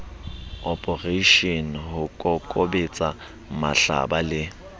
oporeishene ho kokobetsa mahlaba le